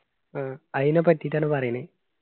ആ അയിന പറ്റിയിട്ടാണ് പറയണ്